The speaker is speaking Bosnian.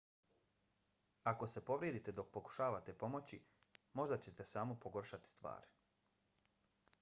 ako se povrijedite dok pokušavate pomoći možda ćete samo pogoršati stvari